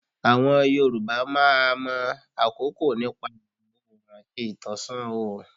Àwọn Yorùbá máa mọ̀ àkókò nípa ìwọ̀ oòrùn àti ìtànṣán ọ̀rùn.